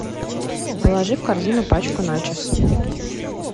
положи в корзину пачку начос